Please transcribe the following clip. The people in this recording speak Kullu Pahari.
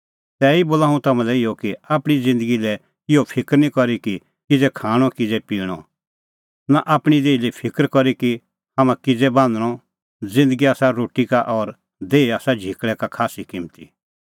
तैही बोला हुंह तम्हां लै इहअ कि आपणीं ज़िन्दगी लै इहअ फिकर निं करी कि किज़ै खाणअ किज़ै पिणअ नां आपणीं देही लै फिकर करी कि हाम्हां किज़ै बान्हणअ ज़िन्दगी आसा रोटी का और देही आसा झिकल़ै का खास्सी किम्मती